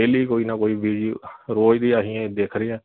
daily ਕੋਈ ਨਾ ਕੋਈ video ਰੋਜ ਦੀਆਂ ਅਹੀ ਦੇਖ ਰਹੇ ਆ